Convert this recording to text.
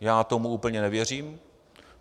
Já tomu úplně nevěřím.